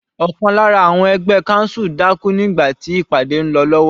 Ọ̀kan lára àwọn ẹgbẹ́ council dákú nígbà tí ìpàdé ń lọ lọ́wọ́.